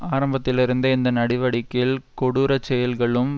ஆரம்பத்திலிருந்தே இந்த நடிவடிக்கையில் கொடூரச்செயல்களும்